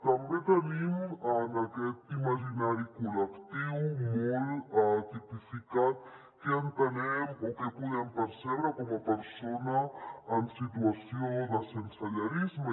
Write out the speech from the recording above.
també tenim en aquest imaginari col·lectiu molt tipificat què entenem o què podem percebre com a persona en situació de sensellarisme